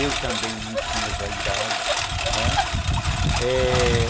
Eu também não tinha vaidade, né, é...